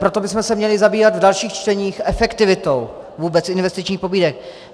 Proto bychom se měli zabývat v dalších čteních efektivitou vůbec investičních pobídek.